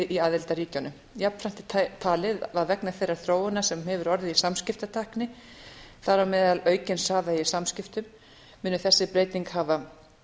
í aðildarríkjunum jafnframt er talið að vegna þeirrar þróunar sem hefur orðið í samskiptatækni þar á meðal aukin í samskiptum muni þessi breyting hafa